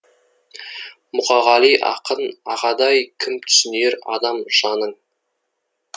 мұқағали ақын ағадай кім түсінер адам жаның